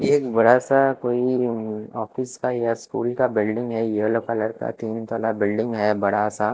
एक बड़ा सा कोई ऑफिस का या स्कूल का बिल्डिंग है येलो कलर का तीन तला बिल्डिंग है बड़ा सा।